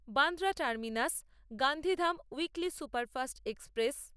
Bandra terminus Gandhidham weekly superfast express